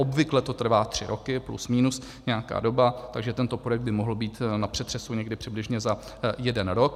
Obvykle to trvá tři roky, plus minus nějaká doba, takže tento projekt by mohl být na přetřesu někdy přibližně za jeden rok.